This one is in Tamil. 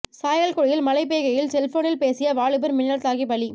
சாயல்குடியில் மழை பெய்கையில் செல்போனில் பேசிய வாலிபர் மின்னல் தாக்கி பலி